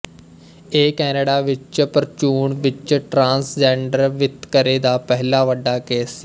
ਇਹ ਕੈਨੇਡਾ ਵਿੱਚ ਪ੍ਰਚੂਨ ਵਿੱਚ ਟਰਾਂਸਜੈਂਡਰ ਵਿਤਕਰੇ ਦਾ ਪਹਿਲਾ ਵੱਡਾ ਕੇਸ ਸੀ